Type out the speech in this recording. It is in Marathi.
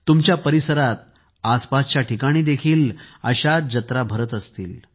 तुमच्या परिसरात आसपासच्या ठिकाणी देखील अशाच जत्रा भारत असतील